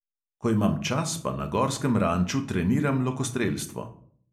Ko imam čas, pa na gorskem ranču treniram lokostrelstvo.